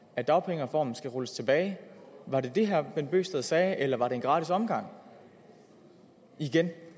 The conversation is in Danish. at dagpengereformen skal rulles tilbage var det det herre bent bøgsted sagde eller var det en gratis omgang igen